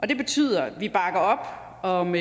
det betyder at vi bakker op om